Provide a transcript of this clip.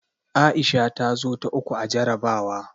Aisha ta zo ta uku a jarabawa.